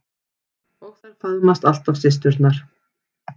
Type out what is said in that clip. Og þær faðmast alltaf systurnar.